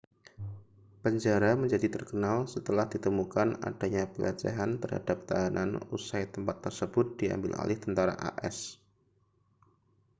penjara menjadi terkenal setelah ditemukan adanya pelecehan terhadap tahanan usai tempat tersebut diambil alih tentara as